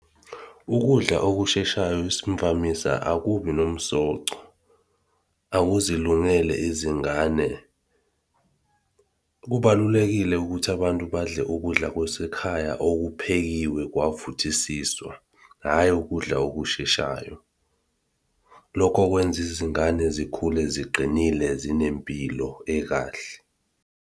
Ukudla okusheshayo isimvamisa akubi nomsoco, akuzilungele izingane. Kubalulekile ukuthi abantu badle ukudla kwasekhaya okuphekiwe kwavuthisiswa, hhayi ukudla okusheshayo. Lokho kwenza izingane zikhule ziqinile zinempilo ekahle.